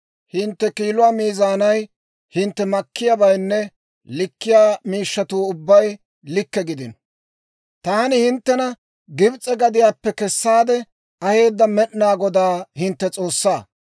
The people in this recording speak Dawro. Hintte kiiluwaa miizaanay, hintte makkiyaabaynne likkiyaa miishshatuu ubbay likke gidino. Taani hinttena Gibs'e gadiyaappe kessaade aheedda Med'inaa Godaa hintte S'oossaa.